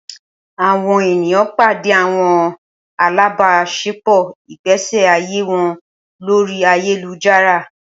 Awọn eniyan pade awọn alabaṣepọ igbesi aye wọn lori ayelujara